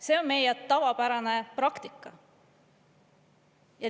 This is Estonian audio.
See on meie tavapärane praktika.